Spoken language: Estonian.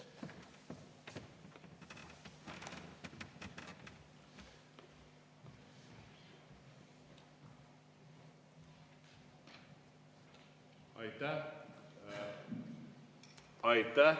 Aitäh!